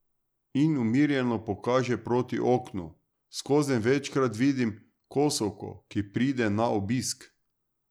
In umirjeno pokaže proti oknu: 'Skozenj večkrat vidim kosovko, ki pride na obisk.